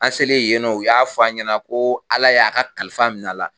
An selen yen nɔn, u y'a fɔ a ɲɛna ko Ala y'a ka kalifa min'a la